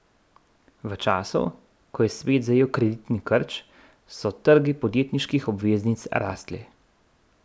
V času, ko je svet zajel kreditni krč, so trgi podjetniških obveznic rastli.